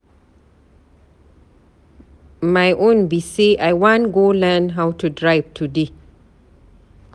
My own be say I wan go learn how to drive today.